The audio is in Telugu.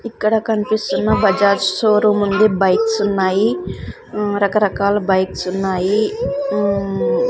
ఇక్కడ కనిపిస్తున్న బజాజ్ షోరూం ఉంది బైక్స్ ఉన్నాయి ఉమ్ రకరకాల బైక్స్ ఉన్నాయి ఉమ్.